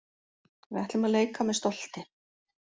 Við ætlum að leika með stolti